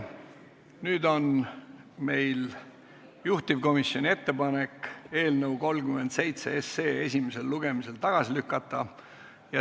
Nüüd on meil juhtivkomisjoni ettepanek eelnõu 37 esimesel lugemisel tagasi lükata.